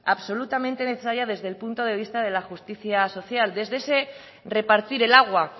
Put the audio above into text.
absolutamente necesaria desde el punto de vista de la justicia social desde ese repartir el agua